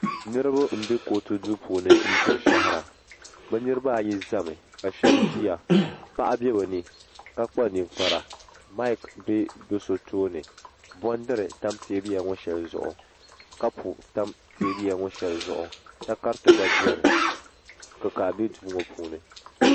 niraba n bɛ kootu duu puuni ndiri shahara bi niraba ayi ʒɛmi ka shab ʒiya paɣa bɛ bi ni ka kpa ninkpara maik bɛ bi so tooni bondiri tam teebuya ŋɔ shɛli zuɣu kapu tam teebuya ŋɔ shɛli zuɣu takariti gba biɛni kikaa bɛ duu ŋɔ puuni